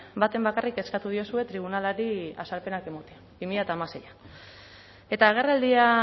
baten bakarrik eskatu diozue tribunalari azalpenak ematea bi mila hamaseian eta agerraldia